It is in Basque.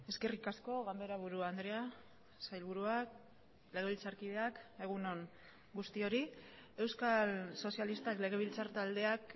eskerrik asko ganberaburu andrea sailburuak legebiltzarkideak egun on guztiori euskal sozialistak legebiltzar taldeak